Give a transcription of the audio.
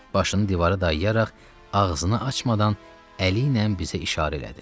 Başını divara dayayaraq ağzını açmadan əli ilə bizə işarə elədi.